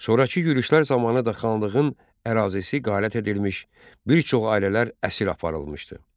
Sonrakı yürüşlər zamanı da xanlığın ərazisi talan edilmiş, bir çox ailələr əsir aparılmışdı.